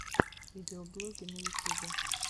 видеоблоги на ютюбе